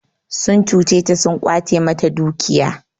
Sun cuce ta sun ƙwace mata dukiya.